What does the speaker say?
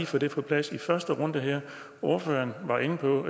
få det på plads i første runde her ordføreren var inde på